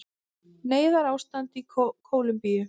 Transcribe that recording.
Neyðarástand í Kólumbíu